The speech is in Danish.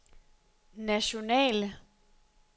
nationale